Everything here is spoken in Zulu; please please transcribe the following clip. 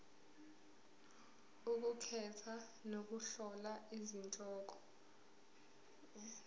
ukukhetha nokuhlola izihloko